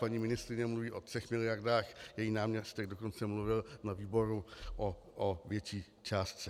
Paní ministryně mluví o třech miliardách, její náměstek dokonce mluvil na výboru o větší částce.